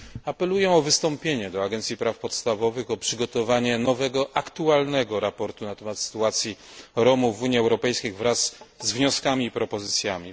Apeluję o wystąpienie do Agencji Praw Podstawowych o przygotowanie nowego, aktualnego raportu na temat sytuacji Romów w Unii Europejskiej wraz z wnioskami i propozycjami.